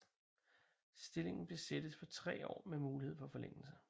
Stillingen besættes for tre år med mulighed for forlængelse